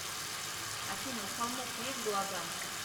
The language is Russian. афина у холмов есть глаза